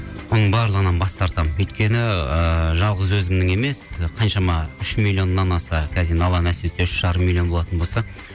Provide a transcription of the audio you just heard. соның барлығынан бас тартамын өйткені ыыы жалғыз өзімнің емес қаншама үш миллионнан аса енді алла нәсіп етсе үш жарым миллион болатын болса